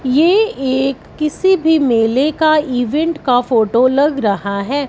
ये एक किसी भी मेले का इवेंट का फोटो लग रहा है।